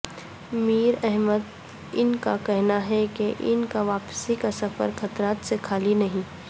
میر احمدان کا کہنا ہے کہ ان کا واپسی کا سفر خطرات سے خالی نہیں